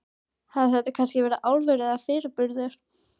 Hafði þetta kannski verið álfur, eða fyrirburður?